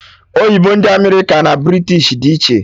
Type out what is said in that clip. Oyibo ndị America na British dị iche